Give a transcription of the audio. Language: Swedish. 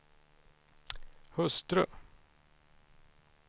hustru